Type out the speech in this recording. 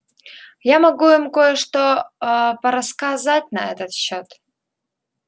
я могу им кое-что аа порассказать на этот счёт